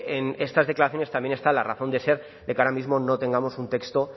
en estas declaraciones también está la razón de ser de que ahora mismo no tengamos un texto